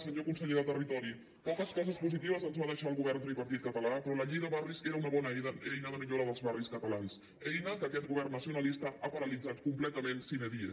senyor conseller de territori poques coses positives ens va deixar el govern tripartit català però la llei de barris era una bona eina de millora dels barris catalans eina que aquest govern nacionalista ha paralitzat completament sine die